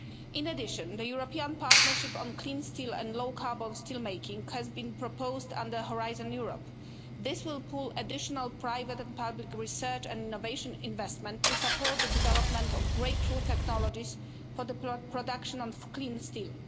In addition, the European partnership on clean steel and low carbon steel making has been proposed under Horizon Europe. This will put additional private and public research and innovation investment to support the development of breakthrough technologies for the production of clean steel.